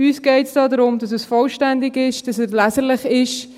Uns geht es darum, dass es vollständig ist, dass es leserlich ist.